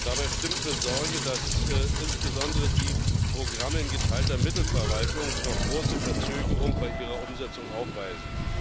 Dabei stimmt besorglich, dass insbesondere die Programme in geteilter Mittelverwaltung noch große Verzögerung bei ihrer Umsetzung aufweisen.